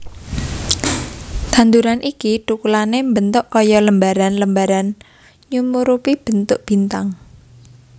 Tanduran iki tukulane mbentuk kaya lembaran lembaran nyumurupi bentuk bintang